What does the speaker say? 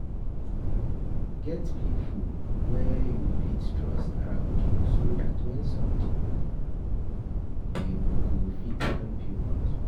Get pipo wey you fit trust around you so dat when something dem go fit help you bounce back